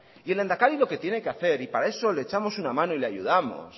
y el lehendakari lo que tiene que hacer y para eso le echamos una mano y le ayudamos